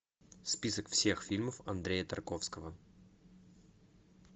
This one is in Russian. список всех фильмов андрея тарковского